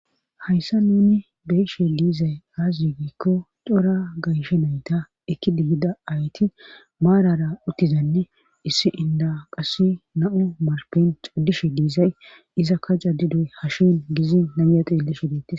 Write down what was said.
hayssa nuni beyishe diizay aze yiigiikko cora gayshe nayta ekki digida ayti maarara uttizanne issi inda qass na7o marpen cudishe diizay izakka jaddidoy hashin gizi naya xillishe deettes